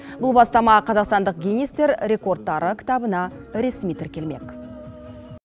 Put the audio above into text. бұл бастама қазақстандық гиннестер рекордтары кітабына ресми тіркелмек